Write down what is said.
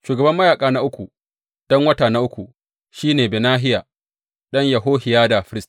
Shugaban mayaƙa na uku, don wata na uku, shi ne Benahiya ɗan Yehohiyada firist.